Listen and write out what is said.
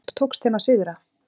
Hve oft tókst þeim að sigra?